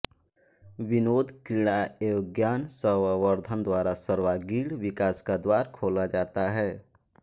विनोद क्रीड़ा एवं ज्ञान संवर्धन द्वारा सर्वांगीण विकास का द्वार खोला जाता है